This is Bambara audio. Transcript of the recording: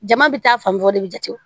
Jama bɛ taa fan bɔ o de bɛ jate